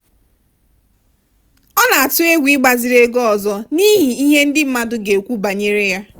ọ na-atụ egwu ịgbaziri ego ọzọ n'ihi ihe ndị mmadụ ga-ekwu banyere ya.